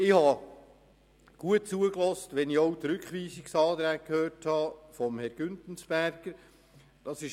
Ich habe gut zugehört, auch was die Rückweisungsanträge von Herrn Grossrat Güntensperger betrifft.